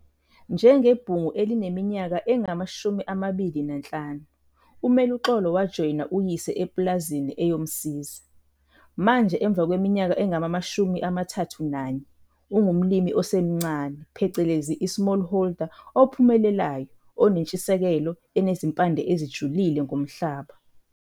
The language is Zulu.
Njengebhungu elineminyaka engama-25, uMeluxolo wajoyina uyise epulazini eyomsiza. Manje emva kweminyaka engama-31, ungumlimi osemncane phecelezi i-smallholder ophumelelayo onentshisekelo enezimpande ezijulile ngomhlaba.